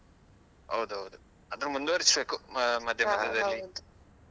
ಹೌದೌದು ಆದ್ರು ಮುಂದುವರಿಸ್ಬೇಕು .